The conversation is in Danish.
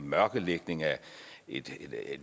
mørkelægning af et